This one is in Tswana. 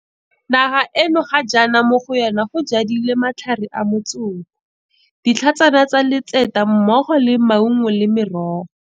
Naga eno ga jaana mo go yona go jadilwe matlhare a motsoko, ditlhatshana tsa letseta mmogo le maungo le merogo.